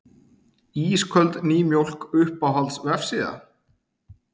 Ísköld nýmjólk Uppáhalds vefsíða?